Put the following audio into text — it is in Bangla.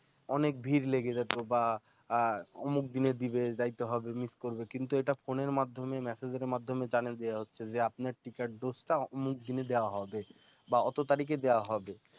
অনেক ভীড় লেগে যেতো বা অমুক দিনে দিবে যাইতে হবে miss করবে কিন্তু এটা phone এর মাধ্যমে message এর মাধ্যমে জানিয়ে দেয়া হচ্ছে যে আপনার টিকার dose টা অমুক দিনে দেয়া হবে বা অত তারিখে দেয়া হবে